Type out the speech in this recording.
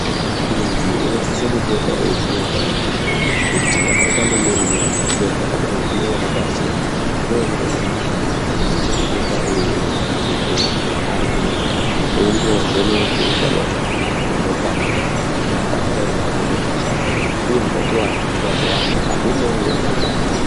Muntu unosise kupota eiziye utano hwake kuti vakaita mumirirei izvo zvakadai zvinonekwa sei. Zvinooneka ngekuti antu anosise kupota eiende kuchibhedhleya ari ega. Embovhekwa utano hwavo neropa ravo kuti hapana ere panenge pakashata, uye utachivana hwemazuva ano haumovo ere muropa mavo.